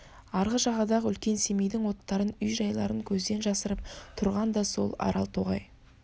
арғы жағадағы үлкен семейдің оттарын үй-жайларын көзден жасырып тұрған да сол арал тоғай